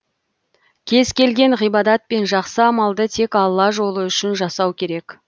кез келген ғибадат пен жақсы амалды тек алла жолы үшін жасау керек